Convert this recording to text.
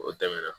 O tɛmɛna